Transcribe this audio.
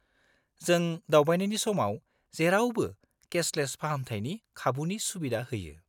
-जों दावबायनायनि समाव जेरावबो केसलेस फाहामथायनि खाबुनि सुबिदा होयो।